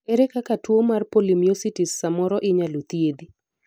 ere kaka tuo mar polymyositis samoro inyalo thiedhi